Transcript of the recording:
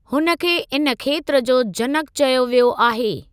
हुन खे इन खेत्र जो जनक चयो वियो आहे।